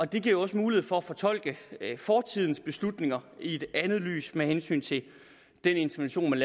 det giver jo også mulighed for at fortolke fortidens beslutninger i et andet lys med hensyn til den intervention